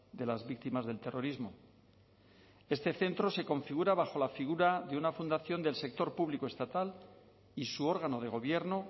de las víctimas del terrorismo este centro se configura bajo la figura de una fundación del sector público estatal y su órgano de gobierno